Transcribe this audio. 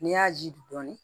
N'i y'a ji dɔɔnin